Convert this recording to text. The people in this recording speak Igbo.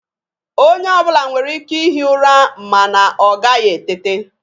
Onye ọbụla nwere ike i hi ụra mana ọ gaghị etete.